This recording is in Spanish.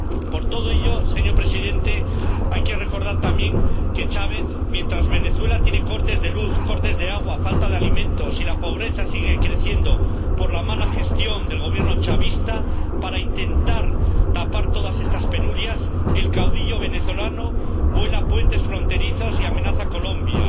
Por todo ello, señor Presidente, hay que recordar también que, mientras Venezuela tiene cortes de luz, cortes de agua, falta de alimentos y la pobreza sigue creciendo por la mala gestión del Gobierno chavista, el caudillo venezolano, para intentar tapar todas estas penurias, vuela puentes fronterizos y amenaza a Colombia,